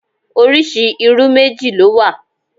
Oríṣi irú méjì ló wà